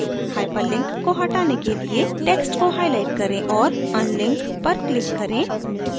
hyperlink को हटाने के लिए text को highlight करें और unlink पर click करें